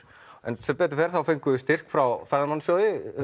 en sem betur fer fengum við styrk frá